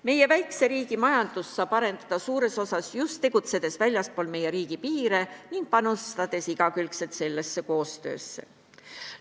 Meie väikse riigi majandust saab arendada suures osas just väljaspool meie riigipiire tegutsedes ning igakülgselt sellesse koostöösse panustades.